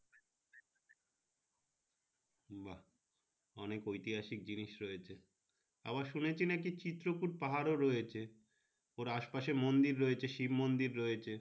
অনেক ঐতিহাসিক জিনিস রয়েছে আবার শুনেছি নাকি চিত্রকূট পাহাড় ও রয়েছে আশেপাশে মন্দির রয়েছে শিব মন্দির ও রয়েছে।